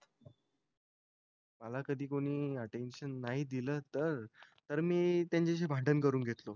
मला कधी कोणी अटेन्शन नाही दिल तर तर मी त्यांचाशी भांडण करून घेतलं होत